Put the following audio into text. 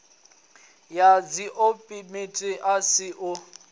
ya dziolimpiki a si u